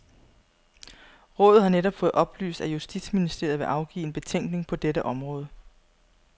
Rådet har netop fået oplyst at justitsministeriet vil afgive en betænkning på dette område.